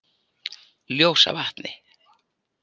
Ljósavatni